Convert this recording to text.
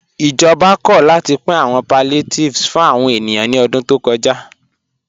Ìjọba kò látì pìn àwọn palliatives fún àwọn ènìyàn ní ọ̀dún tó kọ́já.